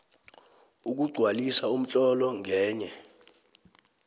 ukugcwalisa umtlolo ngenye